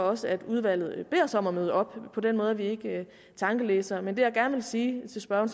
også at udvalget beder os om at møde op på den måde er vi ikke tankelæsere men det jeg gerne sige til spørgeren